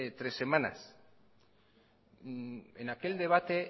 tres semanas en aquel debate